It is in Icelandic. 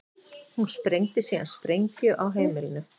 Hún sprengdi síðan sprengju á heimilinu